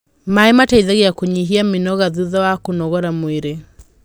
maĩ mateithagia kunyihia mĩnoga thutha wa kũnogora mwĩrĩ